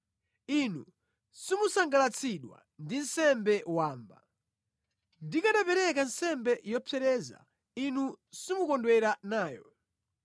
Inu simusangalatsidwa ndi nsembe wamba. Ndikanapereka nsembe yopsereza, Inu simukondwera nayo.